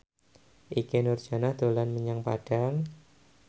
Ikke Nurjanah dolan menyang Padang